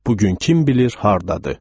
Bugün kim bilir hardadır.